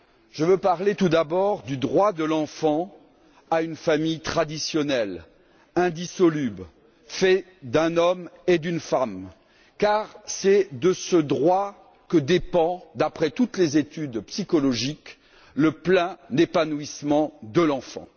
Je veux parler tout d'abord du droit de l'enfant à une famille traditionnelle, indissoluble, faite d'un homme et d'une femme car c'est de ce droit que dépend, d'après toutes les études psychologiques, le plein épanouissement de l'enfant.